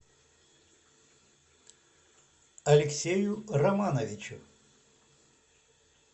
алексею романовичу